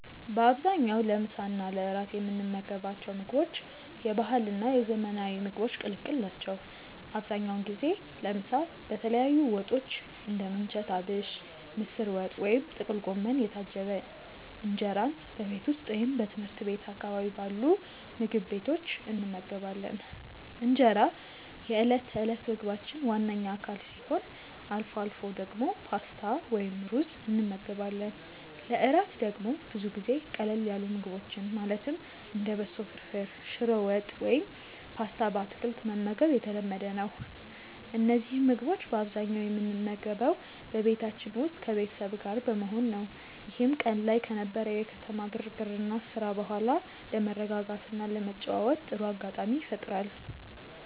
በአብዛኛው ለምሳ እና ለእራት የምንመገባቸው ምግቦች የባህልና የዘመናዊ ምግቦች ቅልቅል ናቸው። አብዛኛውን ጊዜ ለምሳ በተለያዩ ወጦች (እንደ ምንቸት አቢሽ፣ ምስር ወጥ ወይም ጥቅል ጎመን) የታጀበ እንጀራን በቤት ውስጥ ወይም ትምህርት ቤት አካባቢ ባሉ ምግብ ቤቶች እንመገባለን። እንጀራ የዕለት ተዕለት ምግባችን ዋነኛ አካል ሲሆን፣ አልፎ አልፎ ደግሞ ፓስታ ወይም ሩዝ እንመገባለን። ለእራት ደግሞ ብዙ ጊዜ ቀለል ያሉ ምግቦችን ማለትም እንደ በሶ ፍርፍር፣ ሽሮ ወጥ ወይም ፓስታ በአትክልት መመገብ የተለመደ ነው። እነዚህን ምግቦች በአብዛኛው የምንመገበው በቤታችን ውስጥ ከቤተሰብ ጋር በመሆን ነው፤ ይህም ቀን ላይ ከነበረው የከተማ ግርግርና ስራ በኋላ ለመረጋጋትና ለመጨዋወት ጥሩ አጋጣሚ ይፈጥራል።